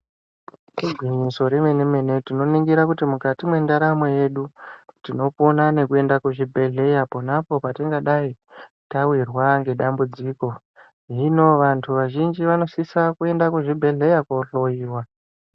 Igwinyiso remene-mene, tinoningira kuti mukati mwendaramo yedu tinopona nekuenda kuzvibhadhlera ponapo patingadai tawirwa ngedambudziko, hino vantu vamweni vanosisa kuenda kuzvibhadhlera kohloiwa.